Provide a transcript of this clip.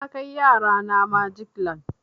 Na kai yara na magic land.